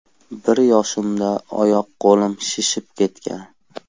Bir yoshimda oyoq-qo‘lim shishib ketgan.